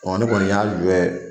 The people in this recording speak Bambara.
Ɔ ne kɔni y'an jɔ yen.